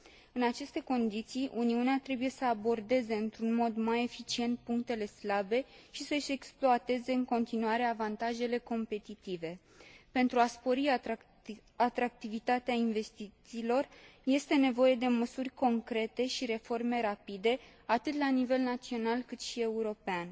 În aceste condiții, Uniunea trebuie să abordeze într un mod mai eficient punctele slabe și să și exploateze în continuare avantajele competitive. Pentru a spori atractivitatea investițiilor este nevoie de măsuri concrete și reforme rapide, atât la nivel național, cât și european,